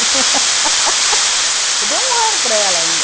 Eu dei um ano para ela ainda.